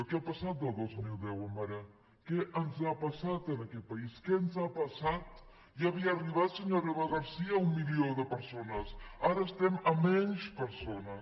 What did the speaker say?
què ha passat del dos mil deu a ara què ens ha passat en aquest país què ens ha passat ja havia arribat senyora eva garcía un milió de persones ara estem a menys persones